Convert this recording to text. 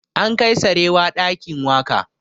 An kai sarewa ɗakin waƙa